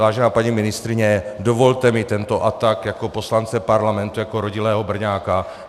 Vážená paní ministryně, dovolte mi tento atak jako poslance parlamentu, jako rodilého Brňáka.